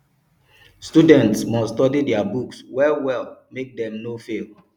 students must study their books well well make dem no fail